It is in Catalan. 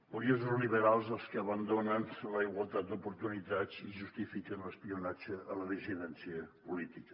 curiosos liberals els que abandonen la igualtat d’oportunitats i justifiquen l’espionatge a la dissidència política